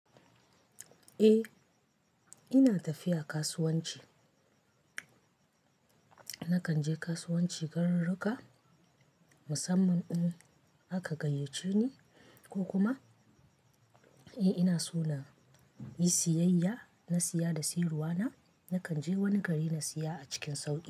Eh ina tafiya kasuwanci. Na kan je kasuwanci gararruka, musamman in aka gayyace ni ko kuma, eh ina so na yi siyayya, na siya da siyarwa na, na kan je wani gari na siya a cikin sauƙi.